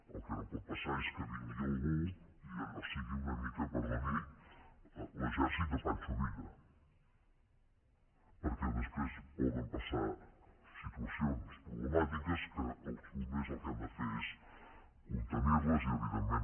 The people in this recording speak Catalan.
el que no pot passar és que vingui algú i allò sigui una mica perdoni l’exèrcit de pancho villa perquè després poden passar situacions problemàtiques que els bombers el que han de fer és contenir les i evidentment